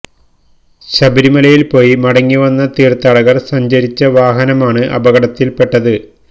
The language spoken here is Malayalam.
ശബരിമലയില് പോയി മടങ്ങി വന്ന തീര്ഥാടകര് സഞ്ചരിച്ച വാഹനമാണ് അപകടത്തില് പെട്ടത്